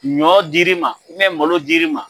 Ɲɔ dir'i ma malo dir'i ma.